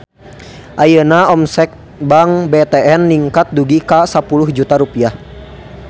Ayeuna omset Bank BTN ningkat dugi ka 10 juta rupiah